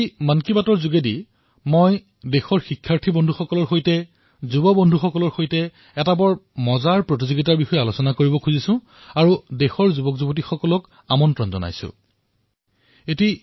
আজি মন কী বাতৰ জৰিয়তে মই দেশৰ বিদ্যাৰ্থী বন্ধুসকলৰ সৈতে যুৱ বন্ধুসকলৰ সৈতে এক আকৰ্ষণীয় প্ৰতিযোগিতাৰ বিষয়ে আলোচনা কৰিবলৈ বিচাৰিছো আৰু দেশৰ যুৱকযুৱতীসকলক কুইজ প্ৰতিযোগিতালৈ নিমন্ত্ৰিত কৰিছো